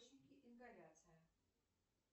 ингаляция